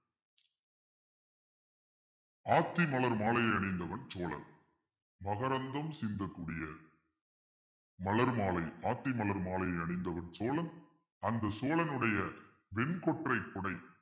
ஆத்தி மலர் மாலையை அணிந்தவன் சோழன் மகரந்தம் சிந்தக்கூடியது மலர்மாலை ஆத்தி மலர் மாலை அணிந்தவன் சோழன் அந்த சோழனுடைய வெண்கொற்றை குடை